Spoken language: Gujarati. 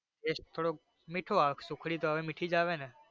taste થોડોક મીઠો આવે સુખડી તો હવે મીઠી જ આવે ને.